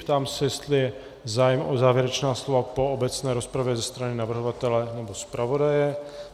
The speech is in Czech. Ptám se, jestli je zájem o závěrečná slova po obecné rozpravě ze strany navrhovatele nebo zpravodaje.